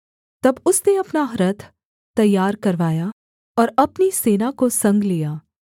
तब उसने अपना रथ तैयार करवाया और अपनी सेना को संग लिया